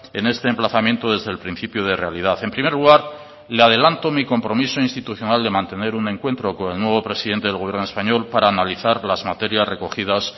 en este emplazamiento desde el principio de realidad en primer lugar le adelanto mi compromiso institucional de mantener un encuentro con el nuevo presidente del gobierno español para analizar las materias recogidas